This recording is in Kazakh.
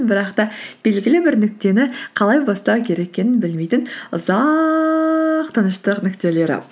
бірақ та белгілі бір нүктені қалай бастау керек екенін білмейтін ұзақ тыныштық нүктелері